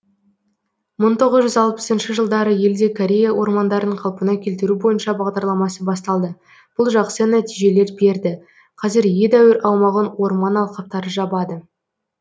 шы жылдары елде корея ормандарын қалпына келтіру бойынша бағдарламасы басталды бұл жақсы нәтижелер берді қазір едәуір аумағын орман алқаптары жабады